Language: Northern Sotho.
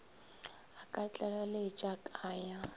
a ka tlaleletša ka ya